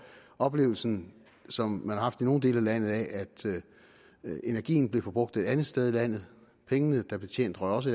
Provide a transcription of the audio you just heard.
at oplevelsen som man har haft i nogle dele af landet af at energien blev forbrugt et andet sted i landet at pengene der blev tjent også